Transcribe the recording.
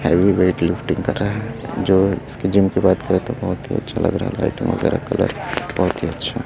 heavy weight lifting कर रहा है जो इसके जिम के बाद करके बहुत ही अच्छा लग रहा है लाइटिंग वगैरह कलर बहुत ही अच्छा --